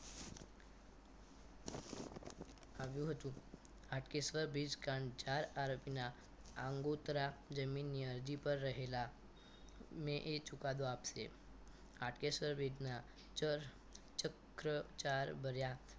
આવ્યું હતું હાટકેશ્વર વીસ કાંડ ચાર આરોપીના આગોતરા જમીન ની અરજી પર રહેલા મેં એ ચુકાદો આપશે હાટકેશ્વર વિધના ચક્રચાર ભર્યા